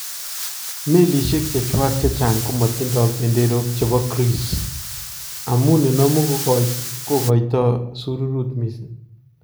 Melisyeek chechwak chechang komatindo benderook chebo Greece, amun nenamuu kokaito shyuruut missing.